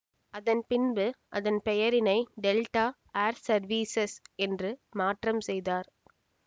அதன் பின்பு அதன் பெயரினை டெல்டா ஏர் செர்வீஸஸ் என்று மாற்றம் செய்தார்